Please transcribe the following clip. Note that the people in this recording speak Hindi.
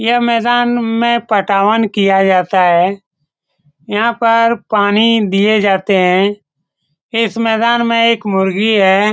यह मैदान में पटवान किया जाता है यहाँ पर पानी दिए जाते है इस मैदान में एक मुर्गी है।